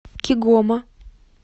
кигома